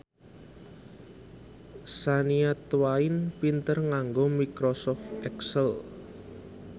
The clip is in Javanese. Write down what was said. Shania Twain pinter nganggo microsoft excel